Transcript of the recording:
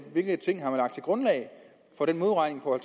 hvilke ting man har lagt til grund for den modregning på